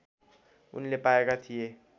उनले पाएका थिए